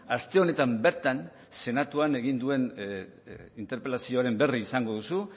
aste honetan bertan senatuan egin duen interpelazioaren berri izango duzu